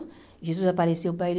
Jesus apareceu para ele.